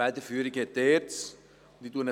Die Federführung liegt bei der ERZ.